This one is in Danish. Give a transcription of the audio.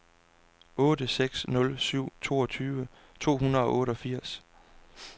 otte seks nul syv toogtyve to hundrede og otteogfirs